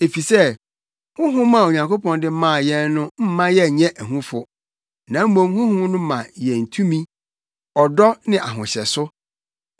Efisɛ Honhom a Onyankopɔn de maa yɛn no mma yɛnyɛ ahufo, na mmom Honhom no ma yɛn tumi, ɔdɔ ne ahohyɛso.